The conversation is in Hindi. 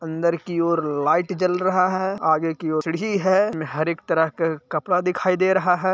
अंदर की ओर लाइट जल रहा है आगे की और खिड़की है | मने हर एक तरह का कपड़ा दिखाई दे रहा है।